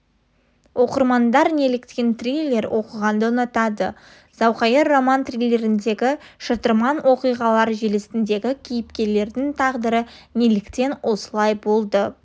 оқырмандар неліктен триллер оқығанды ұнатады зауқайыр роман-триллеріндегі шытырман оқиғалар желісіндегі кейіпкерлердің тағдыры неліктен осылай болды